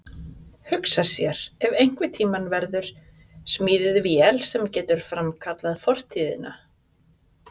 Hugsa sér ef einhvern tíma verður smíðuð vél sem getur framkallað fortíðina.